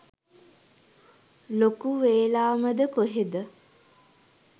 ලොකු වේලාමද කොහෙද?